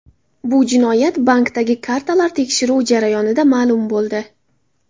Bu jinoyat bankdagi kartalar tekshiruvi jarayonida ma’lum bo‘ldi.